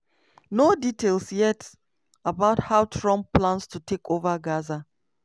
no details dey yet about how trump plan to take over gaza.